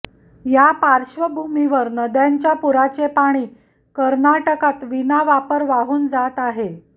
या पार्श्वभूमीवर नद्यांच्या पुराचे पाणी कर्नाटकात विनावापर वाहून जात आहे